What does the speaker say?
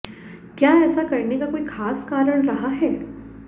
क्या ऐसा करने का कोई ख़ास कारण रहा है